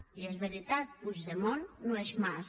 i és veritat puigdemont no és mas